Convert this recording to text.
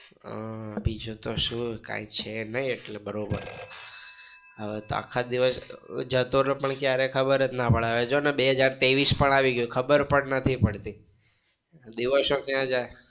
આહ બીજું તો શુંકાંઈ છે નઈ એટલે બરોબર હવે તો આખા દિવસ જતો રે પણ ખબર ના પડે જો ને બે હજાર તેવીસ પણ આવી ગયું ખબર પણ નથી પડતી દિવસો ક્યાં જાય!